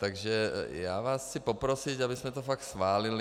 Takže já vás chci poprosit, abychom to fakt schválili.